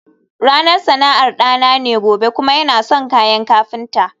ranar sana'ar dana ne gobe kuma yana son kayan kafinta